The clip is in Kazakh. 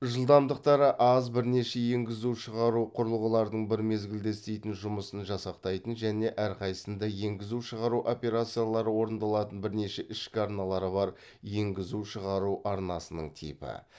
жылдамдықтары аз бірнеше енгізу шығару құрылғыларының бір мезгілде істейтін жұмысын жасақтайтын және өрқайсысында енгізу шығару операциялары орындалатын бірнеше ішкі арналары бар енгізу шығару арнасының типі